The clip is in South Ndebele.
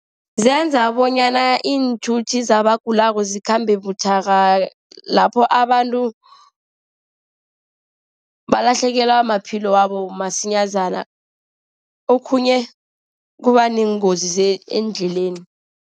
Zenza bonyana iinthuthi zabagulako zikhambe buthaka. Lapho abantu balahlekelwa amaphilo wabo msinyazana. Okhunye kuba neengozi eendleleni.